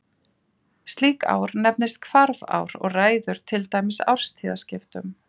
slíkt ár nefnist hvarfár og ræður til dæmis árstíðaskiptum